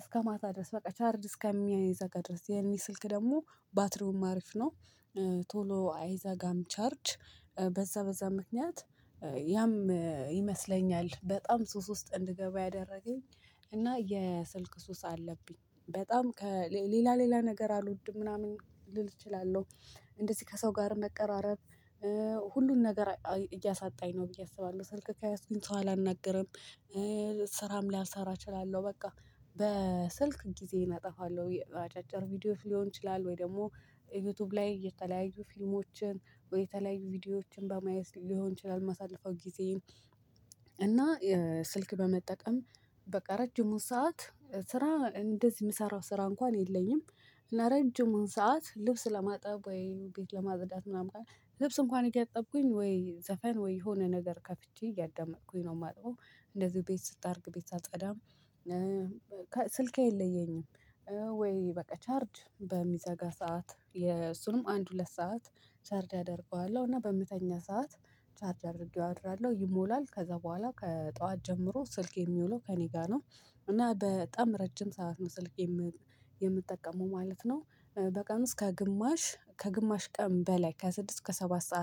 እስከ ማታ ድረስ በቃ ቻርድ እስከሚዘጋ ድረስ የኔ ስልክ ደግሞ ባትሪውም አሪፍ ነው። ቶሎ አይዘጋም ቻርጅ በዛ በዛ ምክንያት ያም ይመስለኛል በጣም ሱስ ውስጥ እንድገባ ያደረገኝ። እና የስልክ ሱስ አለብኝ በጣም ከሌላ ሌላ ነገር አልወድም ምናምን ልል እችላለሁ። እንደዚህ ከሰው ጋር መቀራረብ ሁሉን ነገር እያሳጣኝ ነው ብዬ አስባለሁ ስልክ ከያዝኩኝ ሰው አላናግርም። ስራም ሊያሰራ እችላለሁ በቃ በስልክ ጊዜዬን አጠፋለሁ። አጫጭር ቪዲዮ ሊሆን ይችላል ወይ ደግሞ ዩቲዩብ ላይ የተለያዩ ፊልሞችን ወይ የተለያዩ ቪዲዮዎችን በማየት ሊሆን ይችላል ማሳልፈው ጊዜዬን። እና ስልክ በመጠቀም በቃ ረጅሙን ሰዓት ስራ እንደዚህ የምሰራው ስራ እንኳን የለኝም። ለረጅሙ ሰዓት ልብስ ለማጠብ ወይ ቤት ለማጸዳት ምናምን ልብስ እንኳን እያጠብኩኝ ወይ ዘፈን ወይ የሆነ ነገር ከፍቼ እያዳመጥኩኝ ነው የማጠበው። እንደዚህ ቤት ስጠርግ ቤት አልጸዳም። ስልኬ አይለየኝም። ወይ በቃ ቻርጅ በሚዘጋ ሰዓት የእሱንም አንድ ሁለት ሰዓት ቻርድ አደርገዋለሁ እና በምተኛ ሰዓት ቻርድ አድርጌው አድራለሁ ይሞላል ከዛ በኋላ ከጠዋት ጀምሮ ስልክ የሚውለው ከእኔ ጋር ነው። እና በጣም ረጅም ሰዓት ነው ስልክ የምጠቀመው ማለት ነው። በቀን እስከ ግማሽ ከግማሽ ቀን በላይ ከስድስት እስከ ሰባት ሰዓት